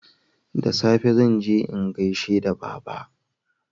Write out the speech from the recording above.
da safe zanje in gaishe da baba